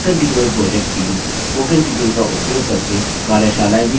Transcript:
spoken tutorial project teamspoken tutorial का उपयोग करके कार्यशालाएँ भी चलाते हैं